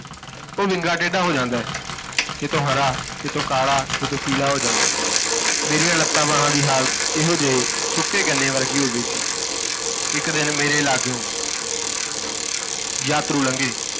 ਉਹ ਵਿੰਗਾ ਟੇਡਾ ਹੋ ਜਾਂਦਾ ਹੈ ਕਿਤੋਂ ਹਰਾ, ਕਿਤੋਂ ਕਾਲਾ, ਕਿਤੋਂ ਪੀਲਾ ਹੋ ਜਾਂਦਾ ਹੈ। ਮੇਰੀ ਲੱਤਾਂ ਬਾਹਾਂ ਦੀ ਹਾਲਤ ਇਹੋ ਜਿਹੇ ਸੁੱਕੇ ਗੰਨੇ ਵਰਗੀ ਹੋ ਗਈ ਸੀ ਇੱਕ ਦਿਨ ਮੇਰੇ ਲਾਗਿਓ ਯਾਤਰੂ ਲੰਘੇ।